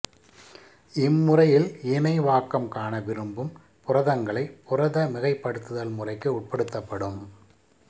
இம்முறையில் இணைவாக்கம் காண விரும்பும் புரதங்களை புரத மிகைப்படுத்துதல் முறைக்கு உட்படுத்தப்படும்